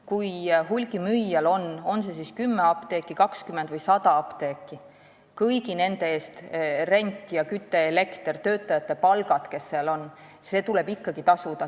Kui hulgimüüjal on kas 10, 20 või 100 apteeki, siis tuleb tal ikkagi kõigi nende eest tasuda üür, küte, elekter, töötajate palgad jne.